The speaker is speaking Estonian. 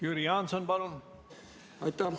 Jüri Jaanson, palun!